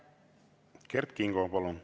Kert Kingo, palun!